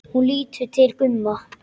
Hún lítur til Gumma.